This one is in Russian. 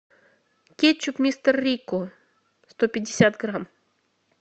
кетчуп мистер рикко сто пятьдесят грамм